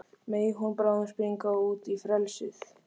Megi hún bráðum springa út í frelsið.